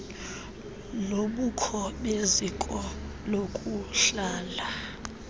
lobukho beziko lokuhlala